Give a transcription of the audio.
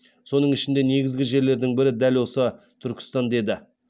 соның ішіндегі негізгі жерлердің бірі дәл осы түркістан деді